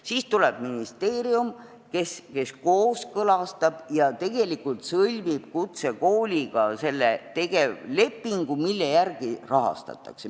Siis tuleb ministeerium, kes kooskõlastab ja sõlmib kutsekooliga selle tegevlepingu, mille järgi rahastatakse.